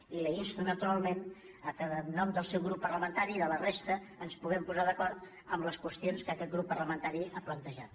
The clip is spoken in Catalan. i l’insto naturalment que en nom del seu grup parla·mentari i de la resta ens puguem posar d’acord en les qüestions que aquest grup parlamentari ha plantejat